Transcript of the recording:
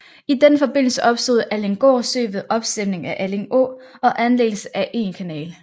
I den forbindelse opstod Allinggård Sø ved opstemning af Alling Å og anlæggelse af en kanal